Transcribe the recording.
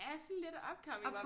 Ja sådan lidt upcoming